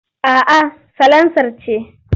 A'a salansar ce.